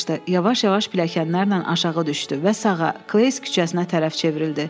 Yavaş-yavaş pilləkənlərlə aşağı düşdü və sağa, Kleys küçəsinə tərəf çevrildi.